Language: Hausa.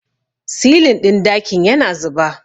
silin ɗin dakin yana zuba